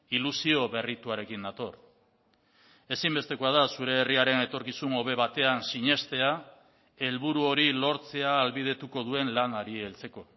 ilusio berrituarekin nator ezinbestekoa da zure herriaren etorkizun hobe batean sinestea helburu hori lortzea ahalbidetuko duen lanari heltzeko